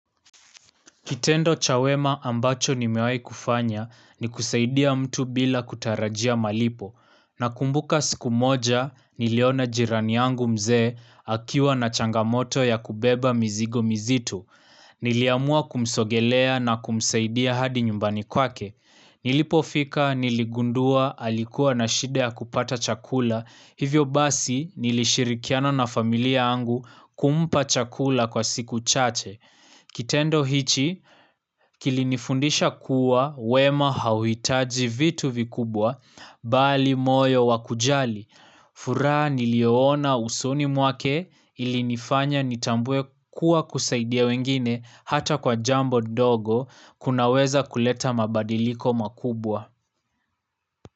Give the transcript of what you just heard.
Kitendo cha wema ambacho nimewai kufanya ni kusaidia mtu bila kutarajia malipo. Na kumbuka siku moja, niliona jirani yangu mzee, akiwa na changamoto ya kubeba mzigo mzitu. Niliamua kumsogelea na kumsaidia hadi nyumbani kwake. Nilipofika, niligundua, alikuwa na shida kupata chakula. Hivyo basi, nikishirikiana na familia angu kumpa chakula kwa siku chache. Kitendo hichi kilinifundisha kuwa wema hauitaji vitu vikubwa bali moyo wakujali. Furaha nilioona usuni muake ilinifanya nitambwe kuwa kusaidia wengine hata kwa jambo dogo kunaweza kuleta mabadiliko makubwa.